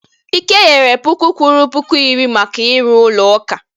Ike nyere puku kwuru puku iri maka ịrụ ụlọ ụka